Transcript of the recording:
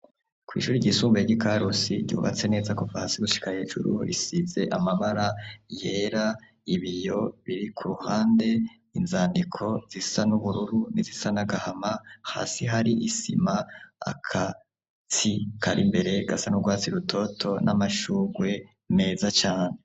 Kw'ishuri ryisumbuye ry'ikarusi ryubatse neza kuva hasi gushika hejuru risize amabara yera ibiyo biri kuruhande inzandiko zisa n'ubururu n'izisa n'agahama hasi hari isima agatsi Kari imbere gasa n'ugwatsi rutoto n'amashugwe meza cane.